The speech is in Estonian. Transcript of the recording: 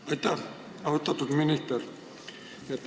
Aitäh, austatud minister!